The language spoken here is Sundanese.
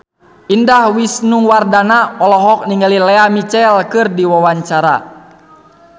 Indah Wisnuwardana olohok ningali Lea Michele keur diwawancara